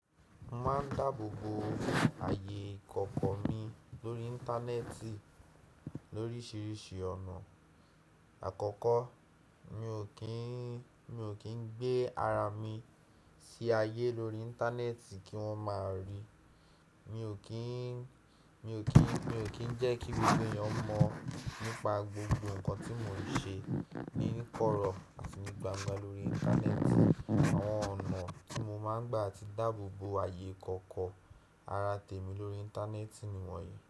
Mo máa ń dáà bò boo àyè ìkọ̀kọ̀ mi lóri internet lóríìsiríìsí ọ̀nà àkọ́kọ́ mi ò kin gbé ara mi sí ayé lórí internet kí won o máa ri mi ò kí ń, mi ò kí ń, mi ò kí ń jẹ́ kí gbogbo èèyàn mọ̀ nípa gbogbo nǹkan tí mò ń ṣe níníkọrọ̀ àti ní gbangba lórí internet. Àwọn ọ̀nà tí mo máa ń gbà ti dáàbò bo ayé ìkọ̀kọ̀ ara tèmi lórí internet ni wọ̀nyí.